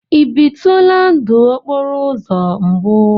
Ị bitula ndụ okporo uzo mbu?